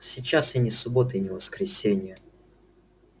сейчас и не суббота и не воскресенье